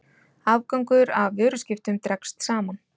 Afgangur af vöruskiptum dregst saman